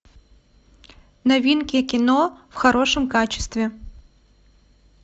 новинки кино в хорошем качестве